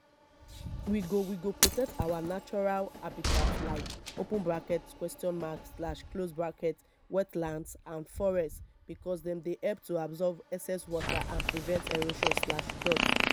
we go we go protect our natural habitats like wetlands and forests because dem help to absorb excess water and prevent erosion.